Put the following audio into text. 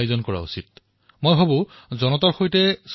মই ভাবো যে এনে কাৰ্যসূচীৰ আয়োজন প্ৰতি তিনিমাহৰ মূৰে মূৰে কৰিব লাগে